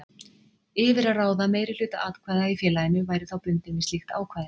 yfir að ráða meirihluta atkvæða í félaginu væri þá bundinn við slíkt ákvæði.